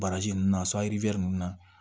Baraji ninnu na sɔn ali ninnu na